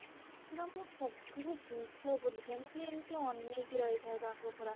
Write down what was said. ପୁରା ମୁଁ ସବୁ ଜିନିଷ ଭୁଲି ଯାଏ ମାନେ ଏମିତି ଅନେଇକି ରହି ଥାଏ ତାଙ୍କୁ ପୁରା